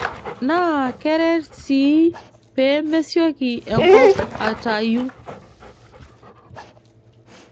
Naa keret sii pee mesioki enkop atayu.